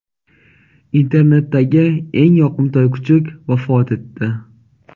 Internetdagi eng yoqimtoy kuchuk vafot etdi.